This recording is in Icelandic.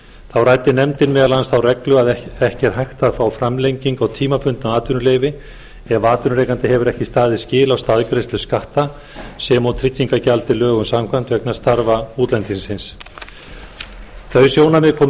þá ræddi nefndin meðal annars þá reglu að ekki er hægt að fá framlengingu á tímabundnu atvinnuleyfi ef atvinnurekandi hefur ekki staðið skil á staðgreiðslu skatta sem og tryggingagjaldi lögum samkvæmt vegna starfa útlendingsins þau sjónarmið komu